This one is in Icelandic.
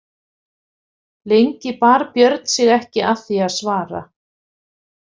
Lengi bar Björn sig ekki að því að svara.